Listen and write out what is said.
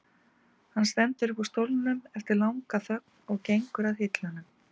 Hann stendur upp úr stólnum eftir langa þögn og gengur að hillunum.